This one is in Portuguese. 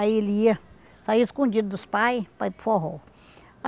Aí ele ia saía escondido dos pai para ir para o forró.